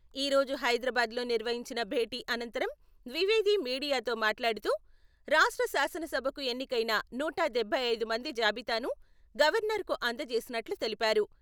ఈ రోజు హైదరాబాద్‌లో నిర్వహించిన భేటీ అనంతరం ద్వివేది మీడియాతో మాట్లాడుతూ రాష్ట్ర శాసనసభకు ఎన్నికైన నూట డబ్బై ఐదు మంది జాబితాను గవర్నర్‌కు అందజేసినట్లు తెలిపారు.